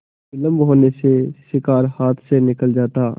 विलम्ब होने से शिकार हाथ से निकल जाता